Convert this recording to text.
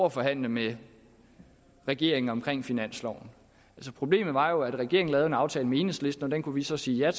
at forhandle med regeringen om finansloven altså problemet var jo at regeringen lavede en aftale med enhedslisten og den kunne vi så sige ja